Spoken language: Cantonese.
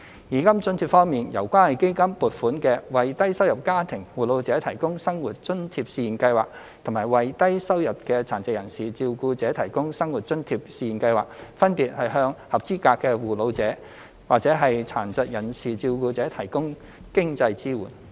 現金津貼方面，由關愛基金撥款的為低收入家庭護老者提供生活津貼試驗計劃及為低收入的殘疾人士照顧者提供生活津貼試驗計劃，分別向合資格的護老者及殘疾人士照顧者提供經濟支援。